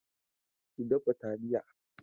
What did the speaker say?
Ki dafa talliya.